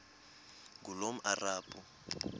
ngulomarabu